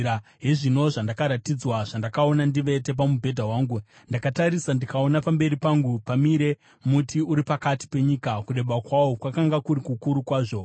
Hezvino zvandakaratidzwa, zvandakaona ndivete pamubhedha wangu: Ndakatarisa, ndikaona pamberi pangu pamire muti, uri pakati penyika. Kureba kwawo kwakanga kuri kukuru kwazvo.